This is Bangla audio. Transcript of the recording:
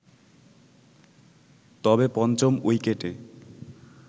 তবে পঞ্চম উইকেটে